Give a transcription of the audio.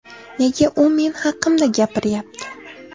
Nega u men haqimda gapiryapti?